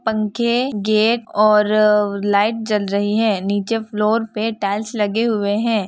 पंखे गेट और लाइट जल रही है नीचे फ्लोर पे टाइल्स लगे हुए है ।